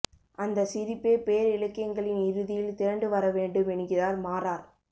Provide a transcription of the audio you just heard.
அந்த சிரிப்பே பேரிலக்கியங்களின் இறுதியில் திரண்டு வர வேண்டும் என்கிறார் மாரார்